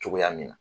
Cogoya min na